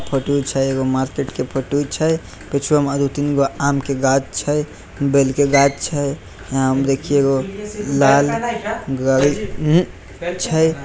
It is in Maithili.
फोटू छै एगो मार्केट के फोटू छै पिछू में दू तीन गो आम के गाछ छै बेल के गाछ यहां देखी लाल गाड़ी छै ।